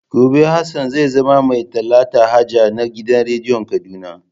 Gobe Hassan zai zama mai talata haja na gidan rediyon Kaduna.